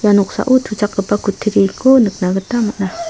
ia noksao tuchakgipa kutturiko nikna gita man·a.